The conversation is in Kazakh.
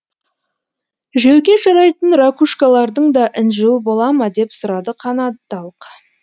жеуге жарайтын ракушкалардың да інжуі бола ма деп сұрады канадалық